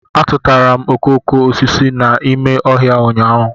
A tụtụtara m okoko osisi a n'ime ọhịa ụnyahụ